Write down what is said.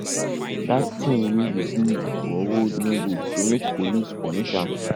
dat thing wey he do for road no good so make police punish am